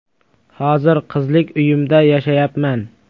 Hozir qizlik uyimda yashayapman.